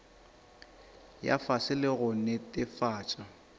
ya fase le go netefatša